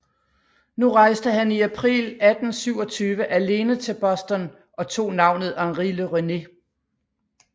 Nu rejste han i april 1827 alene til Boston og tog navnet Henri Le Rennet